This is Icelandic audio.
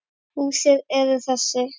Húsin eru þessi